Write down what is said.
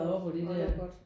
Når det er godt